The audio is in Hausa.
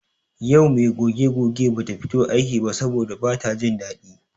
Yau me goge goge bata fito aiki ba saboda bata jin daɗi.